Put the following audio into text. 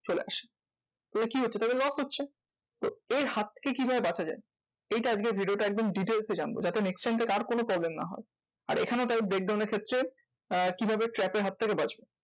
চলে আসে। এ কি হচ্ছে? তাদের loss হচ্ছে। তো এই হাত থেকে কি ভাবে বাঁচা যায়? এইটা আজকে video টা একদম details এ জানবো যাতে next time থেকে আর কোনো problem না হয়? আর এখানেও তাই breakdown এর ক্ষেত্রে আহ কিভাবে trap এর হাত থেকে বাঁচবো?